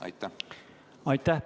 Aitäh!